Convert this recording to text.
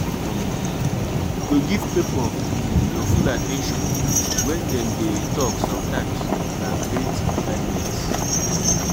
um to give pipo um your full at ten tion when dem de talk sometimes na great kindness